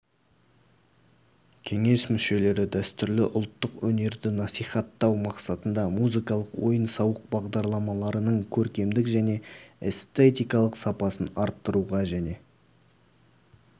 кеңес мүшелері дәстүрлі ұлттық өнерді насихаттау мақсатында музыкалық ойын-сауық бағдарламаларының көркемдік және эстетикалық сапасын арттыруға және